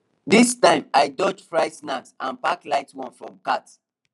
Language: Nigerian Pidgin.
this time i dodge fried snack and pick light one from cart